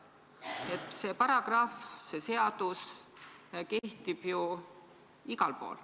See seaduse paragrahv kehtib ju igal pool.